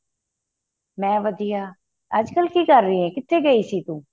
ਮੈਂ ਵਧੀਆ ਅੱਜ ਕੱਲ ਕਿ ਕਰ ਰਹੀ ਏ ਕਿਥੇ ਗਈ ਤੂੰ